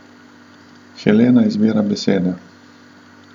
Helena izbira besede.